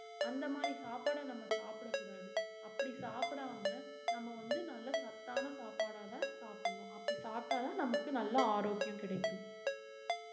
அந்த மாதிரி சாப்பாட நம்ம சாப்பிடக் கூடாது அப்படி சாப்பிடாம நம்ம வந்து நல்ல சத்தான சாப்பாடதான் சாப்பிடணும் அப்படி சாப்பிட்டாதான் நமக்கு நல்ல ஆரோக்கியம் கிடைக்கும்